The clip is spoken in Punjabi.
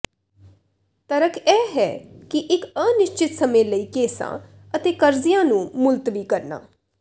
ਤਰਕ ਇਹ ਹੈ ਕਿ ਇੱਕ ਅਨਿਸ਼ਚਿਤ ਸਮੇਂ ਲਈ ਕੇਸਾਂ ਅਤੇ ਕਰਜ਼ਿਆਂ ਨੂੰ ਮੁਲਤਵੀ ਕਰਨਾ